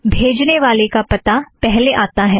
बेजने वाला पता पहले आता है